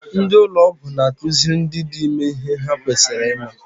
Ndị ụlọ ọgwụ n'akụziri ndị dị ime ihe ha kwesịrị ịma.